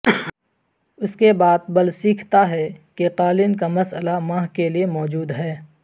اس کے بعد بل سیکھتا ہے کہ قالین کا مسئلہ ماہ کے لئے موجود ہے